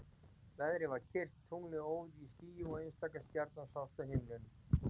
Veðrið var kyrrt, tunglið óð í skýjum og einstaka stjarna sást á himninum.